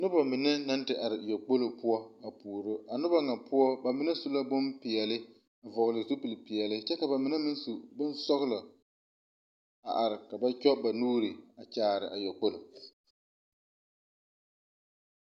A noba mine naŋ te are yagekpolo poɔ a puoru a noba ŋa poɔ ba mine su la bompeɛle vɔgle zupile peɛle kyɛ ka ba ba mine su bonsɔglɔ are ka ba gyɔŋ ba nuuri a kyaare a yagekpolo.